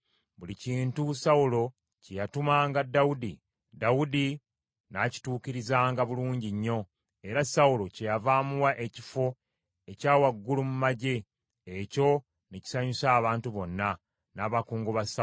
Buli kintu Sawulo kye yatumanga Dawudi, Dawudi n’akituukirizanga bulungi nnyo, era Sawulo kyeyava amuwa ekifo ekyawaggulu mu magye. Ekyo ne kisanyusa abantu bonna, n’abakungu ba Sawulo.